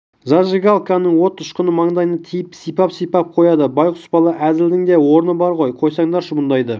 зажигалканың от ұшқыны маңдайына тиіп сипап-сипап қояды байқұс бала әзілдің де орны бар ғой қойсаңдаршы бұндайды